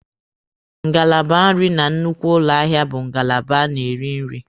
Ngalaba nrị na nnukwu ụlọ ahịa bụ ngalaba a na-eri nri.